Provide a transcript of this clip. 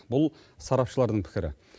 бұл сарапшылардың пікірі